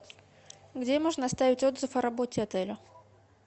где можно оставить отзыв о работе отеля